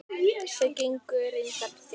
Þau gengu reyndar þétt.